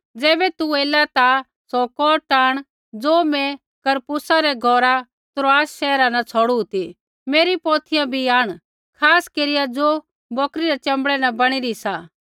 ज़ैबै तू ऐला ता सौ कोट आंण ज़ो मैं करपुसा रै घौरा त्रोआस शैहरा न छ़ौड़ू ती मेरी पौथियां भी आंण खास केरिया ज़ो बौकरी रै च़बड़ै न बणी री सा